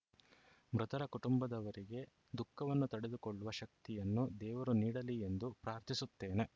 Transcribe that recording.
ಮೃತರ ಕುಟುಂಬದವರಿಗೆ ದುಃಖವನ್ನು ತಡೆದುಕೊಳ್ಳುವ ಶಕ್ತಿಯನ್ನು ದೇವರು ನೀಡಲಿ ಎಂದು ಪ್ರಾರ್ಥಿಸುತ್ತೇನೆ